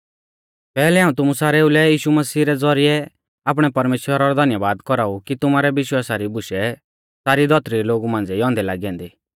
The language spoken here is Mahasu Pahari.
पैहलै हाऊं तुमु सारेऊ लै यीशु मसीह रै ज़ौरिऐ आपणै परमेश्‍वरा रौ धन्यबाद कौराऊ कि तुमारै विश्वासा री बुशै सारी धौतरी रै लोगु मांझ़िऐ ई औन्दै लागी ऐन्दी